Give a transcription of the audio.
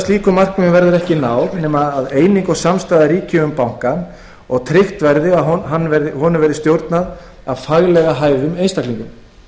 slíkum markmiðum verður ekki náð nema eining og samstaða ríki um bankann og að tryggt verði að bankanum verði stjórnað af faglega hæfum einstaklingum